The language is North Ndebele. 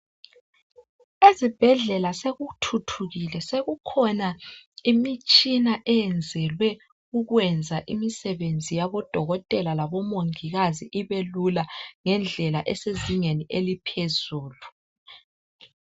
Ezibhedlela sokuthuthukile sokukhona imitshina eyenzelwe ukwenza umsebenzi wabodokotela labomongikazi ibe lula ngedlela esenzingeni eliphezulu